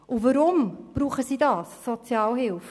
Weshalb brauchen sie Sozialhilfe?